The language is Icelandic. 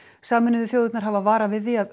sameinuðu þjóðirnar hafa varað við því að